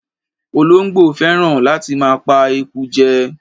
Olóńgbò fẹ́ràn láti máa pa eku jẹ.